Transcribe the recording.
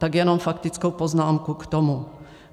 Tak jenom faktickou poznámku k tomu.